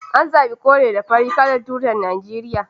An zabi kore da fari kalar tutar Najeriya